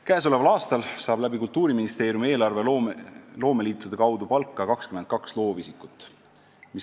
Käesoleval aastal saab Kultuuriministeeriumi eelarvest loomeliitude kaudu palka 22 loovisikut.